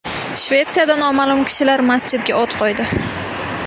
Shvetsiyada noma’lum kishilar masjidga o‘t qo‘ydi.